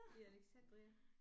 Ved Alexandria